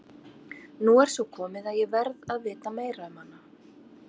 Nú er svo komið að ég verð að vita meira um hana.